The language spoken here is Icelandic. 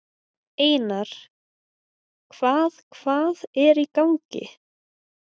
Einar, hvað hvað er í gangi?